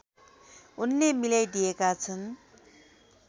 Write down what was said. उनले मिलाइदिएका छन्